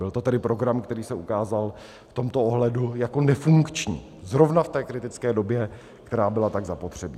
Byl to tedy program, který se ukázal v tomto ohledu jako nefunkční, zrovna v té kritické době, která byla tak zapotřebí.